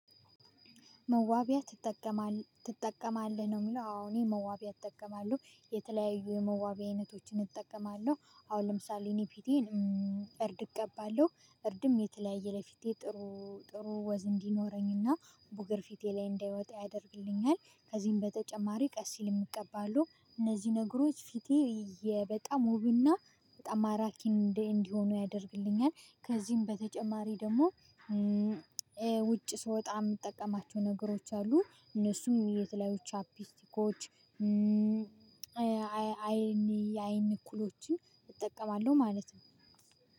መዋቢያ ትጠቀማለህ ነው የሚለው? አዎ እኔ መዋቢያ እጠቀማለሁ የተለያዩ መዋቢያዊ አይነቶችን እጠቀማለሁ አሁን ለምሳሌ እኔ ፊቴን እርድ እቀባለሁ እርድም የተለያየ ለፊቴ ጥሩ ጥሩ ወዝ እንዲኖረኝና ቡገር ፊቴ ላይ እንዳይወጣ ያደርግልኛል ከዚህም በተጨማሪ ቀሲል እቀባለው እነዚህ ነገሮች ፊቴ በጣም ውብና በጣም ማራኪ እንዲሆን ያደርግልኛል። ከዚህም በተጨማሪ ደግሞ ውጪ ስወጣ የምጠቀማቸው ነገሮች አሉ እነሱም የተለያዩ ቻፒስቲኮች አይን የአይን ኩሎችን እጠቀማለሁ ማለት ነው።